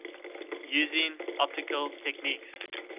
using optical techniques